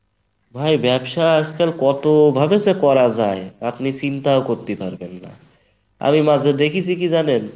ভাই ব্যবসা আজকাল কতভাবে যে করা যায় আপনি চিন্তাও করতি পারবেন না, আমি মাঝে দেখিছি কী জানেন?